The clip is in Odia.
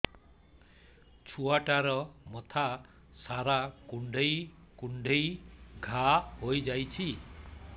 ଛୁଆଟାର ମଥା ସାରା କୁଂଡେଇ କୁଂଡେଇ ଘାଆ ହୋଇ ଯାଇଛି